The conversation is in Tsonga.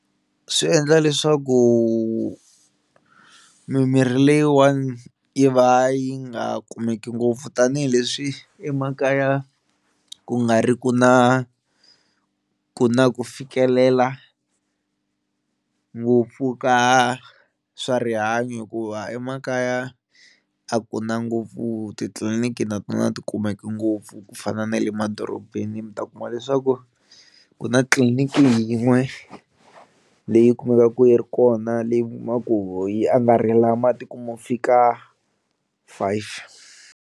Swi endla leswaku mimirhi leyiwani yi va yi nga kumeki ngopfu tanihileswi emakaya ku nga ri ki na ku na ku fikelela ngopfu ka swa rihanyo hikuva emakaya a kuna ngopfu titliliniki na tona a ti kumeki ngopfu ku fana na le madorobeni mi ta ku kuma leswaku ku na tliliniki yin'we leyi kumekaka yi ri kona leyi kumaku ho yi angarhela matiko mo fika five.